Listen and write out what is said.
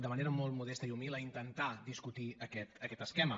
de manera molt modesta i humil a intentar discutir aquest esquema